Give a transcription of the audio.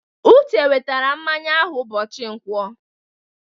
Uche wetara mmanya ahụ ụbọchị Nkwọ.